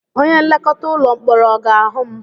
Onye nlekọta ụlọ mkpọrọ ọ ga-ahụ m?